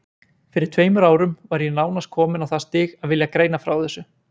Fyrir tveimur árum var ég nánast kominn á það stig að vilja greina frá þessu.